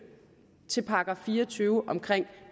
til § fire og tyve om